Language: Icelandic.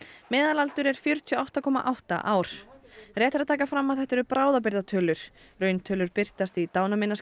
meðalaldur er fjörutíu og átta komma átta ár rétt er að taka fram að þetta eru bráðabirgðatölur rauntölur birtast í